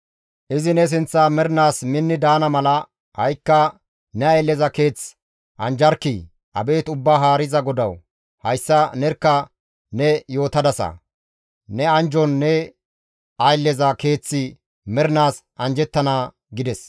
Izi ne sinththan mernaas minni daana mala, ha7ikka ne aylleza keeth anjjarkkii! Abeet Ubbaa Haariza GODAWU! Hayssa nerkka ne yootadasa; ne anjjon ne aylleza keeththi mernaas anjjettana» gides.